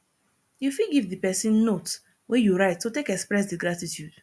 you fit give di person note wey you write to take express di gratitude